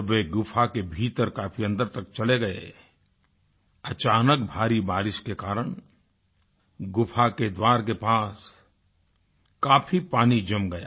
जब वे गुफ़ा के भीतर काफी अन्दर तक चले गए अचानक भारी बारिश के कारण गुफ़ा के द्वार के पास काफी पानी जम गया